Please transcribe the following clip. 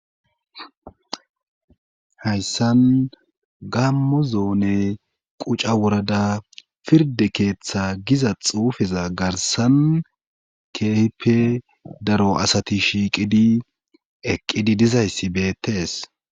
Hayssan gammo zoone quca wurada pirde keeththa giza xuufeza garsan kehipe daro asati shiiqidi eqqidi dizayssi beettees